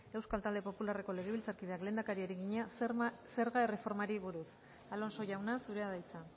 euskal talde popularreko legebiltzarkideak lehendakariari egina zerga erreformari buruz alonso jauna zurea da hitza